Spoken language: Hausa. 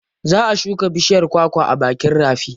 Za a shuka bishiyar kwakwa a bakin rafi.